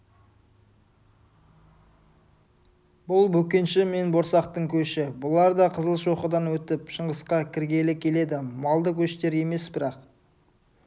бұл бөкенші мен борсақтың көші бұлар да қызылшоқыдан өтіп шыңғысқа кіргелі келеді малды көштер емес бірақ